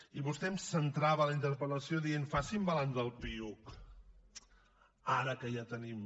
i vostè em centrava la interpel·lació dient facin balanç del piuc ara que ja tenim